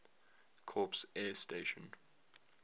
corps air station